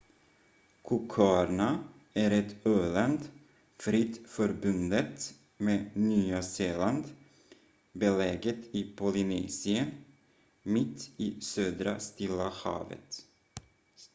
cooköarna är ett öland fritt förbundet med nya zeeland beläget i polynesien mitt i södra stilla havet